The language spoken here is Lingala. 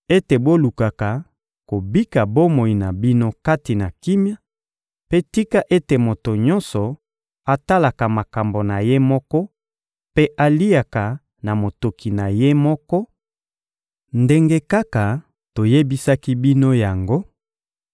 ete bolukaka kobika bomoi na bino kati na kimia; mpe tika ete moto nyonso atalaka makambo na ye moko mpe aliaka na motoki na ye moko, ndenge kaka toyebisaki bino yango,